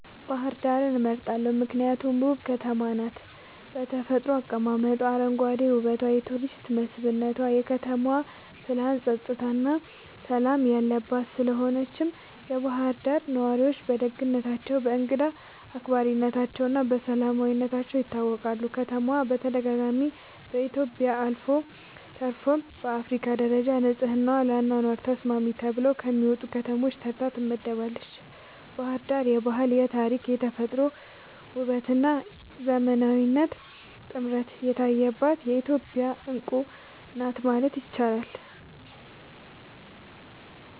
ባህር ዳርን እመርጣለሁ ምክንያቱም ውብ ከተማ ናት በተፈጥሮ አቀማመጧ, አረንጓዴ ዉበቷ የቱሪስት መስብነቷ, የከተማዋ ፕላንናፀጥታና ሠላም የለባት ስለሆነችም የባህር ዳር ነዋሪዎች በደግነታቸው፣ በእንግዳ አክባሪነታቸውና በሰላማዊነታቸው ይታወቃሉ። ከተማዋ በተደጋጋሚ በኢትዮጵያ አልፎ ተርፎም በአፍሪካ ደረጃ ንጹሕና ለአኗኗር ተስማሚ ተብለው ከሚመረጡ ከተሞች ተርታ ትመደባለች። ባሕር ዳር የባህል፣ የታሪክ፣ የተፈጥሮ ውበትና የዘመናዊነት ጥምረት የታየባት የኢትዮጵያ ዕንቁ ናት ማለት ይቻላል።